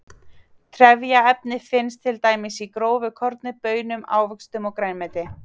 Trefjaefni finnast til dæmis í grófu korni, baunum, ávöxtum og grænmeti.